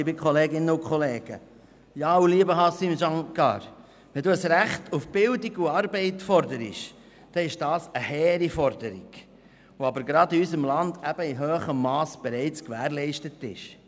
Lieber Haşim Sancar, wenn Sie ein Recht auf Bildung und Arbeit fordern, dann ist das zwar eine hehre Forderung, aber dieses Recht ist gerade in unserem Land bereits in hohem Mass gewährleistet ist.